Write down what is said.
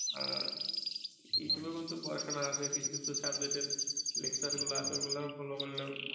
হ্যাঁ youtube এর মধ্যেও পড়াশোনা আছে কিছু কিছু subject এর lecture গুলা আছে অগুলাও follow করলেও